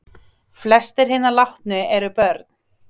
Flestir hinna látnu eru börn